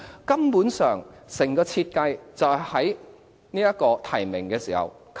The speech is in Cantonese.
根本上整個設計就是在提名時把人卡住。